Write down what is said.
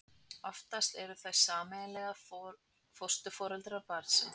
oftast eru þau sameiginlega fósturforeldrar barnsins